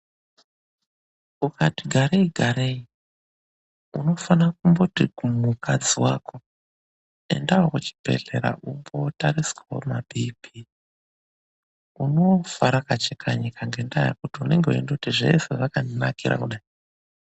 Ukati garei garei unofanira kumboti kumukadzi wako endawo kuchibhehlera umbootariswawo maBP, unofa rakacheka nyika ngendaa yekuti unenge weindoti zvese zvakandinakira kudai.